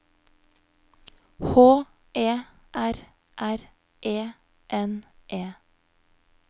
H E R R E N E